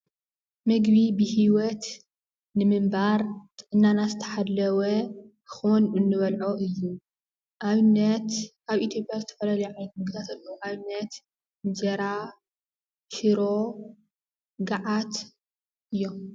ምግቢ ብሂወት ንምንባር ጥዕናና ዝተሓለወ ክኾን እንበልዖ እዩ፡፡ ኣብነት ኣብ ኢትዮጵያ ዝተፈላለዩ ዓይነት ምግብታት ኣለው፡፡ ኣብነት እንጀራ፣ ሽሮ፣ ገዓት እዮም፡፡